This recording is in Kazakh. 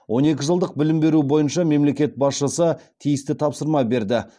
он екі жылдық білім беру бойынша мемлекет басшысы тиісті тапсырма берді